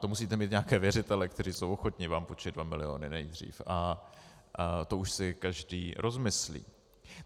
To musíte mít nějaké věřitele, kteří jsou ochotni vám půjčit 2 miliony nejdřív, a to už si každý rozmyslí.